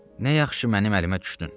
Nə yaxşı mənim əlimə düşdün.